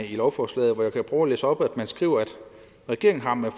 i lovforslaget hvor man skriver regeringen har med